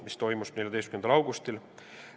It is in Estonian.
See tuli kokku 14. augustil.